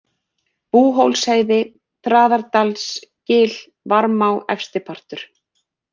Búhólsheiði, Traðardalsgil, Varmá, Efstipartur